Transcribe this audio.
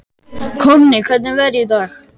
Konni, hvernig er veðrið í dag?